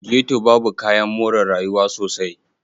Ghetto babu kayan more rayuwa sosai.